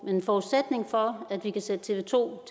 men forudsætningen for at vi kan sætte tv to